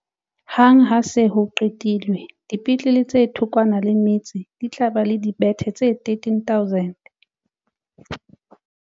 Hang ha ho se ho qetilwe, dipetlele tse thokwana le metse di tla ba le dibethe tse13 000.